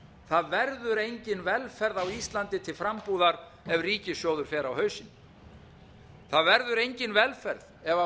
það verður engin velferð á íslandi til frambúðar ef ríkissjóður fer á hausinn það verður engin velferð ef